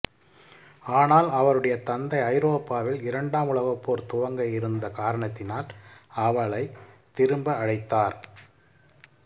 ஆனால் அவருடைய தந்தை ஐரோப்பாவில் இரண்டாம் உலகப் போர் துவங்க இருந்த காரணத்தினால் அவளை திரும்ப அழைத்தார்